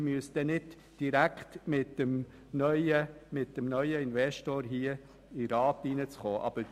Man müsste auch nicht direkt mit dem neuen Investor in den Rat kommen.